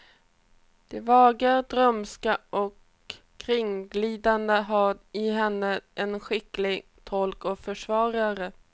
Det vaga, drömska och kringglidande har i henne en skicklig tolk och försvarare.